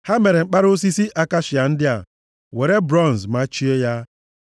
Ha mere mkpara osisi akashia ndị a, were bronz machie ha.